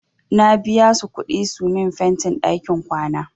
Na biya su kuɗi su min fentin ɗakin kwana.